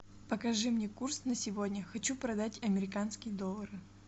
покажи мне курс на сегодня хочу продать американские доллары